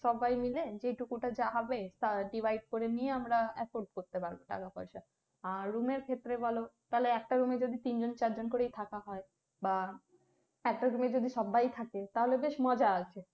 সবাই মিলে যেটুকু টা যা হবে তা divide করে নিয়ে আমরা afford করতে পারবো টাকা পয়সা আর room এর ক্ষেত্রে বলো একটা room এ যদি তিন জন চার জন করে থাকা হয় বা একটা room এ যদি সবাই থাকে তাহলে বেশ মজা আসে।